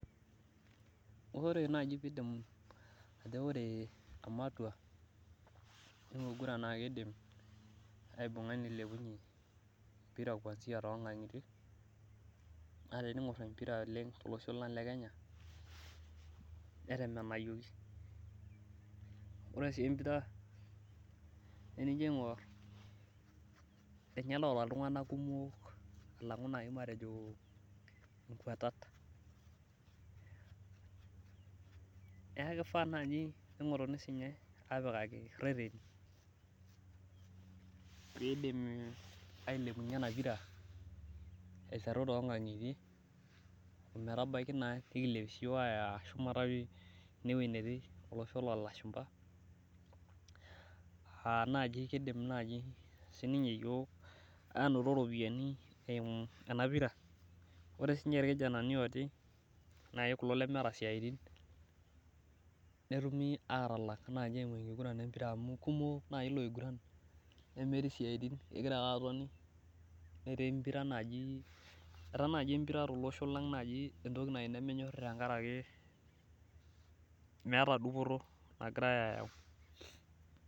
ore najii piindim ajo ore ematwa enkiguran naa keidim aibunga neilipunye empira kwansia toonkangitie naa tening`orr empira oleng` tele osho lang` le kenya netemenayiokki oree sii empira naa enijo aing`or inye naata iltung`anak kumok alang`u najii matejo inkwatat naa keifaa naji neing`orini sinye apikaki irereri peidim ailepunye ena pira aiteru toonkang`itie ometabaki naa pekilepia naa ayaa shuumata pii ewei netii olosho loo lashumpa aa naji keidim naji sininye iyook anoto irropiyianni eimu enapira ore sinche irkijanani otii naai kulo lemeeta isiaitin netumi aatalak naji enkiguran empira amu kumok najii iloiguran nemetii isiaitin kegira ake atoni netii naji etaa nejii empira tolosho lanng` naji entoki naji nemenyori naji tenkaraki meeta dupoto nagirai ayau.